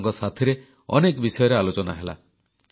ସେମାନଙ୍କ ସାଥିରେ ଅନେକ ବିଷୟରେ ଆଲୋଚନା ହେଲା